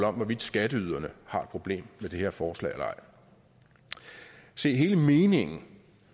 om hvorvidt skatteyderne har et problem med det her forslag eller ej se hele meningen